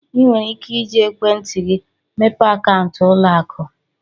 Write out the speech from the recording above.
Ị nwere ike iji ekwentị gị mepee akaụntụ ụlọ akụ.